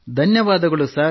ಧನ್ಯವಾದಗಳು ಸರ್